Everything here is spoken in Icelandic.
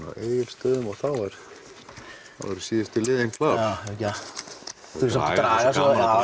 á Egilsstöðum og þá eru síðustu liðin klár já við skulum samt draga það